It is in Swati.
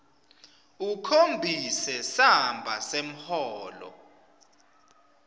ukhombise samba semholo